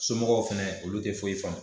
Somɔgɔw fɛnɛ olu te foyi faamu